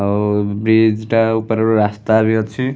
ଆଉ -- ବିଚ୍‌ ଟା ଉପରେ ରାସ୍ତା ବି ଅଛି ।